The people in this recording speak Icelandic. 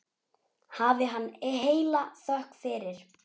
Hafi hann heila þökk fyrir.